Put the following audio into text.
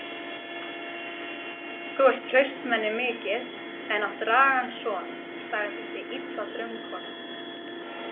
Þú ert hraustmenni mikið en átt ragan son, sagði þessi illa draumkona.